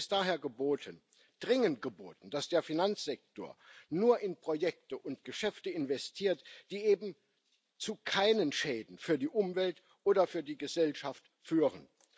Es ist daher dringend geboten, dass der Finanzsektor nur in Projekte und Geschäfte investiert, die eben zu keinen Schäden für die Umwelt oder für die Gesellschaft führen.